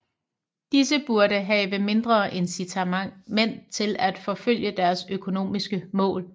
Disse burde have mindre incitament til at forfølge deres økonomisk mål